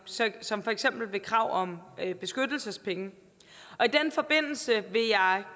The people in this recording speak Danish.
som for eksempel ved krav om beskyttelsespenge i den forbindelse vil jeg